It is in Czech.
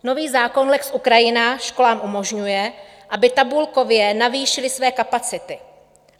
Nový zákon lex Ukrajina školám umožňuje, aby tabulkově navýšily své kapacity.